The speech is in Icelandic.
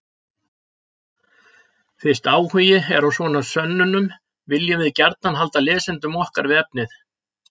Fyrst áhugi er á svona sönnunum viljum við gjarnan halda lesendum okkar við efnið.